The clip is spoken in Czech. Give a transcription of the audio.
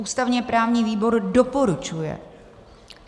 Ústavně-právní výbor doporučuje.